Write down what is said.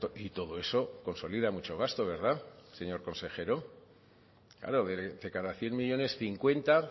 y todo eso consolida mucho gasto verdad señor consejero claro de cada cien millónes cincuenta